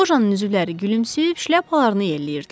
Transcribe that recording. Lojanın üzvləri gülümsüyüb şləpalarını yelləyirdilər.